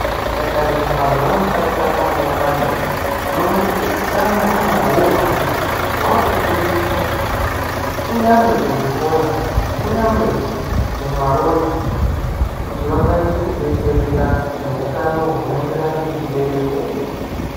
Tikatarisa mazuwa wataakurarama nyamashi, tinoona kuti utano hwaana urwani hwaakufundiswa kunyangwe kuzvikora. Kunyangwe mumarodhi kuti vakwanise kudetsereka nehutano hunoenderana nechibereko.